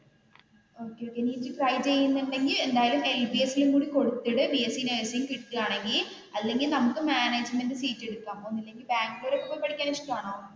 Okay okay നി ഇത് try ചെയ്യുന്നുണ്ടെങ്കിൽ എന്തായാലും LBS ലും കൂടി കൊടുത്തിട് ബി എസ് സി നഴ്സിംഗ് കിട്ടുകയാണെങ്കിൽ അല്ലെങ്കിൽ നമുക്ക് മാനേജ്‌മന്റ് സീറ്റ് കിട്ടണം ഒന്നെങ്കിൽ ബാംഗ്ലൂരിൽ പോയി പഠിക്കാൻ ഇഷ്ടമാണോ?